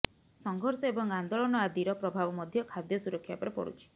ସଂଘର୍ଷ ଏବଂ ଆନ୍ଦୋଳନ ଆଦିର ପ୍ରଭାବ ମଧ୍ୟ ଖାଦ୍ୟ ସୁରକ୍ଷା ଉପରେ ପଡ଼ୁଛି